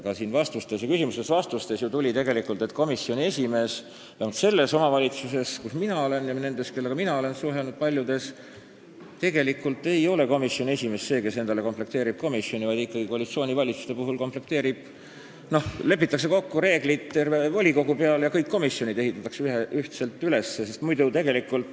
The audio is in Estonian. Ka siin tuli ju küsimustest ja vastustest välja, et komisjoni esimees – vähemalt selles omavalitsuses, kus mina elan, ja paljudes omavalitsustes, kellega ma olen suhelnud – ei ole see, kes endale komisjoni komplekteerib, vaid koalitsioonivalitsuste puhul teeb ettepaneku ikkagi koalitsioon, siis lepitakse kokku reeglid terve volikogu peale ja kõik komisjonid ehitatakse ühtselt üles.